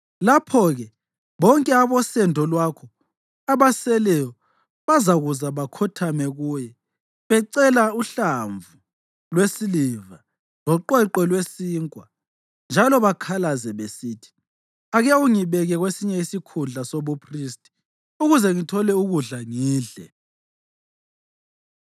Lapho-ke bonke abosendo lwakho abaseleyo bazakuza bakhothame kuye becela uhlamvu lwesiliva loqweqwe lwesinkwa njalo bakhalaze besithi, “Ake ungibeke kwesinye isikhundla sobuphristi ukuze ngithole ukudla ngidle.” ’”